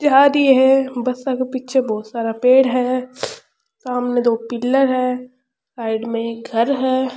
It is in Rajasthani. दी है बसा के पीछे बहुत सारा पेड़ है सामने दो पिलर है साइड में एक घर है।